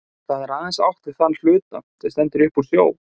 Þá er aðeins átt við þann hluta, sem stendur upp úr sjó.